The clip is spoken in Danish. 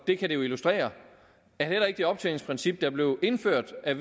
det kan det jo illustrere at heller ikke det optjeningsprincip der blev indført af